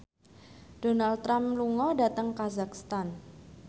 Donald Trump lunga dhateng kazakhstan